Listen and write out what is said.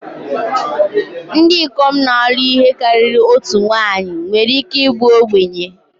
Ndị ikom na-alụ ihe karịrị otu nwanyị nwere ike ịbụ ogbenye